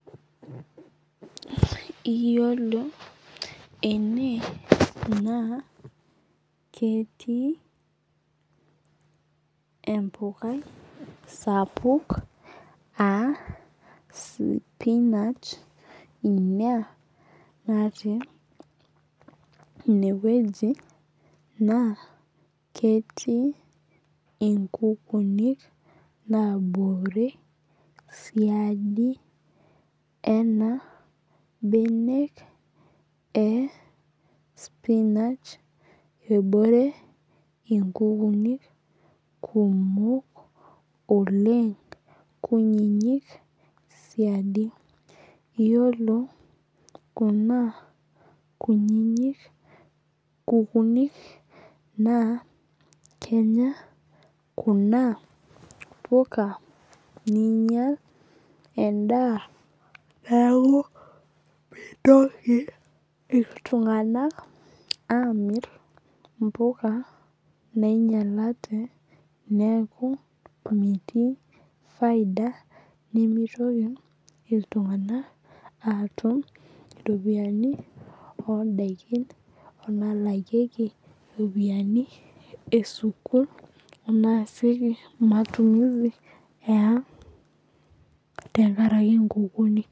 Iyiolo ene naa ketii embukai sapuk aa sipinach ina natii ineweji naa ketii inkukunik nabore siadi ena benek ee spinach ebore inkukunik kumok oleng' kunyinyik siadi . Iyiolo kuna kutitik kukunik naa kenya kuna puka ninyal edaa nao mintoki iltung'ana amir impuka nainyalate neeku metii faida nimitoki iltung'ana atum iropiani oo daikin ono lakieki iropiani ee sukul naasieki matumizi ee ang' tenkaraki nkukunik.